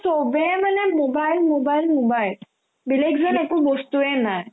চবে মানে mobile mobile mobile বেলেগ যেন একো বস্তুয়ে নাই